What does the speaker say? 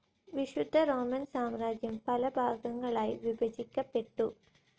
വിശുദ്ധ റോമൻ സാമ്രാജ്യം പലഭാഗങ്ങളായി വിഭജിക്കപ്പെട്ടു.